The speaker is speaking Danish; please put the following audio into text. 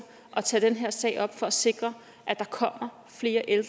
at tage den her sag op for at sikre at der kommer flere